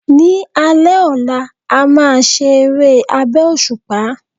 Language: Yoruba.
Ni alé ọlá, a máa se eré abẹ́ òṣùpá